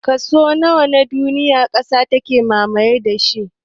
Kaso nawa na duniya ƙasa take mamaye da shi?